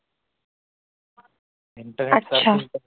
अच्छा